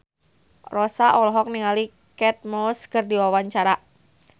Rossa olohok ningali Kate Moss keur diwawancara